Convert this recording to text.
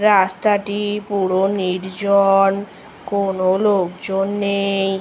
রাস্তাটি পুরো নির্জন কোনো লোকজন নেই ।